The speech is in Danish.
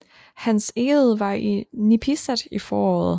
Hans Egede var i Nipisat i foråret